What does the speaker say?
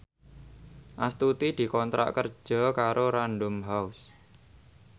Astuti dikontrak kerja karo Random House